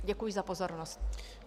Děkuji za pozornost.